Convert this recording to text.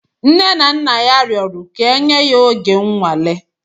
Nne na nna ya rụọrọ ka enye ya oge nnwale.